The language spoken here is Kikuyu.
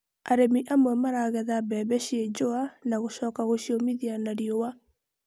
Arĩmi amwe maragetha mbembe ciĩ njũa na gũcoka gũciũmithia na riũa.